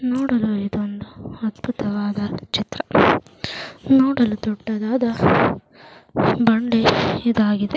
ನೋಡಲು ಇದೊಂದು ಅದ್ಭುತವಾದ ಚಿತ್ರ ನೋಡಲು ದೊಡ್ಡದಾದ ಬಂಡೆ ಇದಾಗಿದೆ.